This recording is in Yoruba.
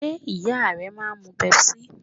Ṣé ìyá rẹ máa ń mu Pepsi?